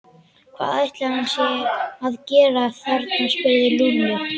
Hvað ætli hann sé að gera þarna? spurði Lúlli.